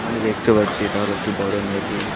আমি দেখতে পাচ্ছি এটা হলো একটি বড় নদী।